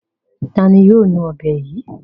Ta ni yóò nu ọ̀bẹ yìí?